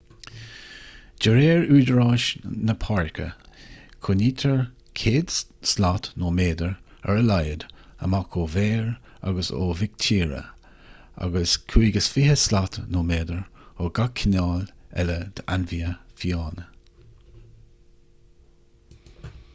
de réir údaráis na páirce coinnítear 100 slat/méadar ar a laghad amach ó bhéir agus ó mhic tíre agus 25 slat/méadar ó gach cineál eile d'ainmhithe fiáine!